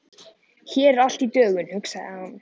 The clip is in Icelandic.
Hér er allt í dögun, hugsaði hann.